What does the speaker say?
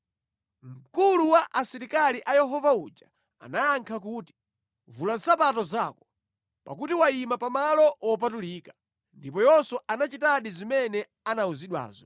Mkulu wa asilikali a Yehova uja anayankha kuti, “Vula nsapato zako, pakuti wayima pa malo wopatulika.” Ndipo Yoswa anachitadi zimene anawuzidwazo.